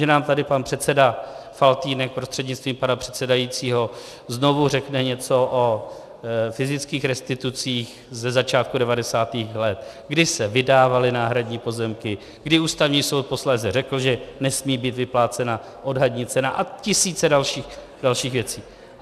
Že nám tady pan předseda Faltýnek prostřednictvím pana předsedajícího znovu řekne něco o fyzických restitucích ze začátku 90. let, kdy se vydávaly náhradní pozemky, kdy Ústavní soud posléze řekl, že nesmí být vyplácena odhadní cena, a tisíce dalších věcí.